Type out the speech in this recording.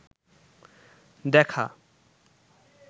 দেখা